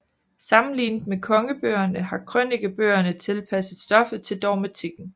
Sammenlignet med Kongebøgerne har Krønikebøgerne tilpasset stoffet til dogmatikken